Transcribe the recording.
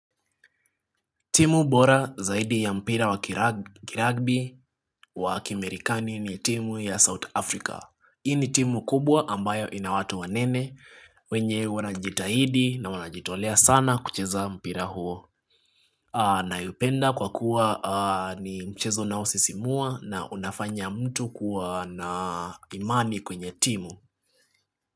Timu bora zaidi ya mpira wa kiragbi wa kimerikani ni timu ya South Africa. Hii ni timu kubwa ambayo ina watu wanene wenye wanajitahidi na wanajitolea sana kucheza mpira huo. Naipenda kwa kuwa ni mchezo unao sisimua na unafanya mtu kuwa na imani kwenye timu.